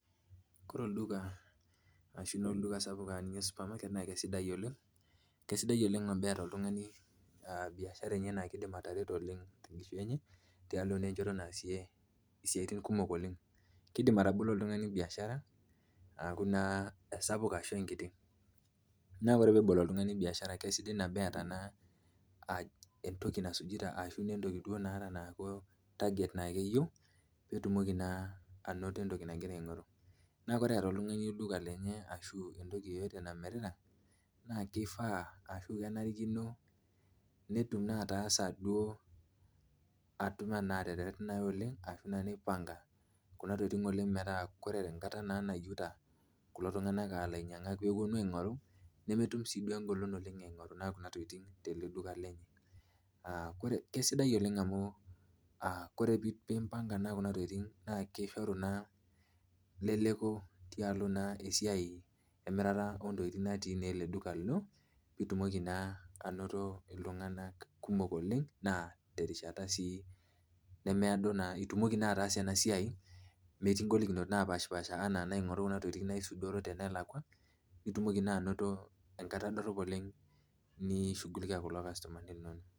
Kore olduka aashu olduka sapuk enaa supermarket naa keisidai oleng ,keisidai oleng teneta oltungani biashara enye naaidim atareto tenkishui enye tialo naa enchoto naasie siatin kumok oleng, keidim oltungani atabolo biashara aa esapuk ashu enkiti ,ore ebol oltungnia naa keyeiu neeta naa target nayieu peetumoki naa anoto entoki nagira aingoru. neeku ore eeta oltungani entoki enye ashu entoki eyeyote namirita naa kifaa ashu kenarikino netum duo atasa ashu neipanga kuna tokiting oleng metaa ore enkata nayieuta kulo tunganak ainyangak ooponu ainyangu ,nemetum sii engolon eingoru kuna tokiting tele duka lenye ,keisidai oleng amu ore pee impanka Kuna tokiting naa kishoru leleko tialo naa esiai emirata intokiting natii naa ele duka lino pee itumoki naa anoto iltunganak kumok oleng naa terishata sii nemeedo ,naa itumoki ataasa ena siai metii ngolikinot naapasha enaa aingoru kuna tokiting elakwa nitumoki naa anoto enkata dorop oleng nishugulikia kulo customani linonok.